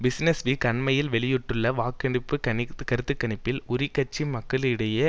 business Week அண்மையில் வெளியிட்டுள்ள வாக்கெடுப்பு கருத்து கணிப்பில் உரி கட்சி மக்களிடையே